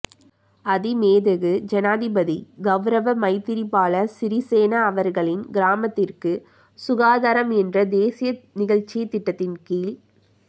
அதிமேதகு ஜனாதிபதி கௌரவ மைத்திரிபால சிறிசேன அவர்களின் கிராமத்திற்கு சுகாதாரம் என்ற தேசிய நிகழ்சித்திட்டத்தின் கீழ்